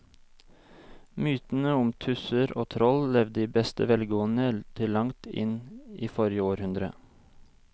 Mytene om tusser og troll levde i beste velgående til langt inn i forrige århundre.